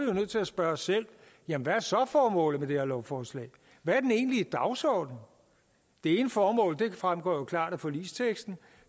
jo nødt til at spørge os selv jamen hvad er så formålet med det her lovforslag hvad er den egentlige dagsorden det ene formål fremgår jo klart af forligsteksten